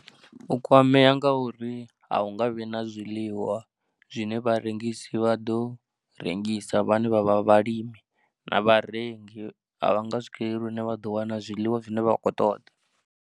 U kwamea nga uri a hu nga vhi na zwiḽiwa zwine vharengisi vha ḓo rengisa vhane vha vha vhalimi na vharengi a vha nga swikeleli hune vha ḓo wana zwiḽiwa zwine vha vha khou ṱoḓa.